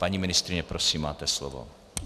Paní ministryně, prosím máte slovo.